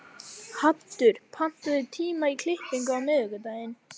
Haddur, pantaðu tíma í klippingu á miðvikudaginn.